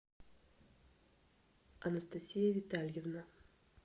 анастасия витальевна